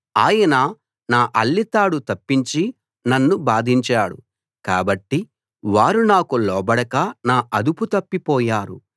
ఆయన నా అల్లె తాడు తప్పించి నన్ను బాధించాడు కాబట్టి వారు నాకు లోబడక నా అదుపు తప్పి పోయారు